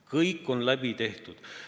Kõik on läbi käidud.